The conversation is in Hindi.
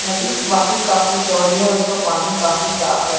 नदी वाकई काफी चौड़ी है और उसका पानी काफी साफ़ है।